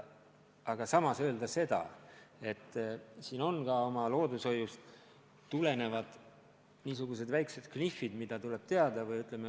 Aga samas peab ütlema seda, et mängus on ka loodushoiust tulenevad väiksed knihvid, mida tuleb teada.